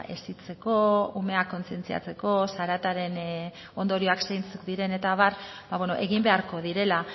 hezitzeko umeak kontzientziatzeko zarataren ondorioak zeintzuk diren eta abar egin beharko direla